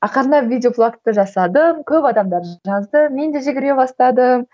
ақырындап видеоблогты жасадым көп адамдар жазды мен де жүгіре бастадым